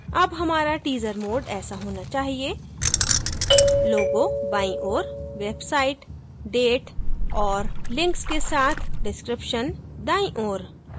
अब हमारा teaser mode ऐसा होना चाहिए logo बाईं ओर website date और links के साथ description दाईं ओऱ